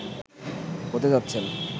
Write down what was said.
হতে যাচ্ছেন